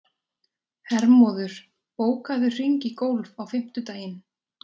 Hermóður, bókaðu hring í golf á fimmtudaginn.